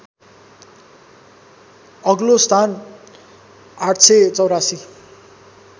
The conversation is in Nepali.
अग्लो स्थान ८८४